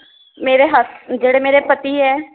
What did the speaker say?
ਮੇਰੇ ਹੱਸ ਜਿਹੜੇ ਮੇਰੇ ਪਤੀ ਏ